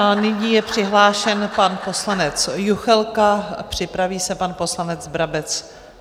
A nyní je přihlášen pan poslanec Juchelka, připraví se pan poslanec Brabec.